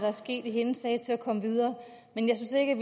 er sket i hendes sag til at komme videre men jeg synes ikke